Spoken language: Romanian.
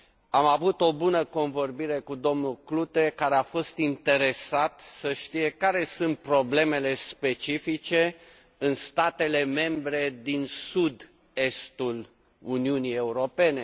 Am avut o bună convorbire cu domnul Klute, care a fost interesat să știe care sunt problemele specifice în statele membre din sud estul Uniunii Europene.